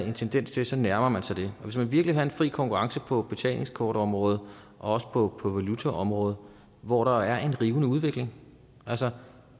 en tendens til at så nærmer man sig det hvis man virkelig vil have en fri konkurrence på betalingskortområdet og også på på valutaområdet hvor der er en rivende udvikling altså